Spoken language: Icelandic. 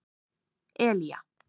Elía